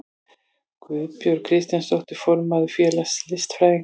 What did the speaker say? Guðbjörg Kristjánsdóttir, formaður félags listfræðinga.